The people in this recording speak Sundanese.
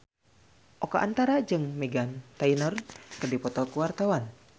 Oka Antara jeung Meghan Trainor keur dipoto ku wartawan